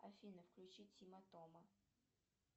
афина включи тима тома